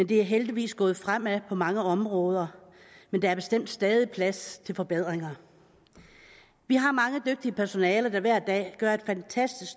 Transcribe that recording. det er heldigvis gået fremad på mange områder men der er bestemt stadig plads til forbedringer vi har mange dygtige personaler der hver dag gør et fantastisk